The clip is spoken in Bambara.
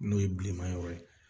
N'o ye bilema yɔrɔ ye